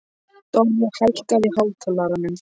Dorri, hækkaðu í hátalaranum.